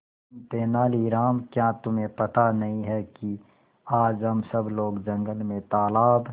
तेनालीराम क्या तुम्हें पता नहीं है कि आज हम सब लोग जंगल में तालाब